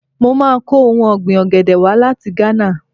Mo máa kọ ohun ọ̀gbìn ọ̀gẹ̀dẹ̀ wá láti Gánà.